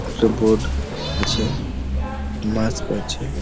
একটা বোর্ড আছে মাস্ক আছে